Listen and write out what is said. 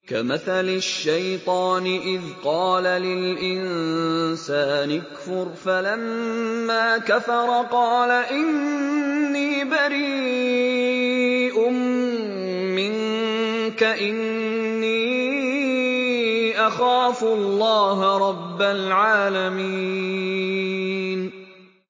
كَمَثَلِ الشَّيْطَانِ إِذْ قَالَ لِلْإِنسَانِ اكْفُرْ فَلَمَّا كَفَرَ قَالَ إِنِّي بَرِيءٌ مِّنكَ إِنِّي أَخَافُ اللَّهَ رَبَّ الْعَالَمِينَ